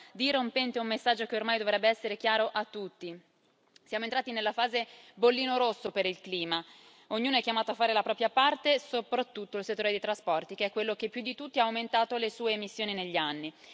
dirompente un messaggio che ormai dovrebbe essere chiaro a tutti siamo entrati nella fase bollino rosso per il clima. Ognuno è chiamato a fare la propria parte e soprattutto il settore dei trasporti, che è quello che più di tutti ha aumentato le sue emissioni negli anni.